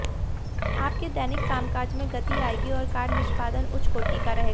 आपके दैनिक कामकाज में गति आएगी और कार्य निष्पादन उच्चकोटि का रहेगा